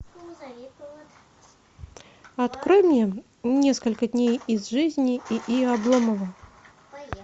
открой мне несколько дней из жизни и и обломова